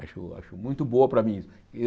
Acho acho muito boa para mim.